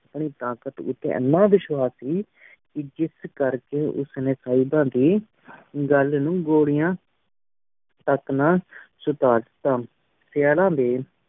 ਆਪਣੀ ਤਾਕਤ ਉਠੀ ਏਨ ਵੇਸ਼੍ਵਾਸ ਸੀ ਜਸ ਕਰ ਕੀ ਉਸ ਨੀ ਸੇਬਾ ਦੀ ਘਲ ਨੂ ਨਜਿ ਘ੍ਲੇਆਯ ਤਕ ਨਾ ਸੁਦਰ ਤਾ ਸੇਅਰਾਂ ਡੀ